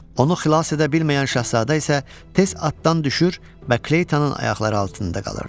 Onu xilas edə bilməyən şahzadə isə tez atdan düşür və Kleytanın ayaqları altında qalırdı.